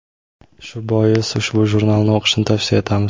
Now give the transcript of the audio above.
Shu bois ushbu jurnalni o‘qishni tavsiya etamiz.